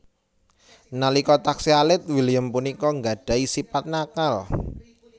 Nalika taksih alit William punika nggadhahi sipat nakal